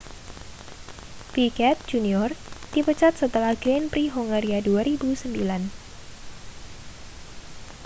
piquet jr dipecat setelah grand prix hongaria 2009